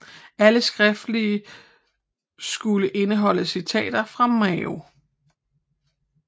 Alt skriftligt skulle indeholde citater fra Mao